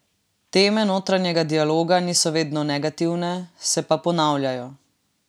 Teme notranjega dialoga niso vedno negativne, se pa ponavljajo.